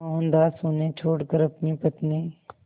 मोहनदास उन्हें छोड़कर अपनी पत्नी